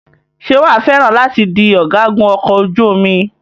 Ṣé wàá fẹ́ràn láti di ọ̀gágun ọkọ̀ ojú omi?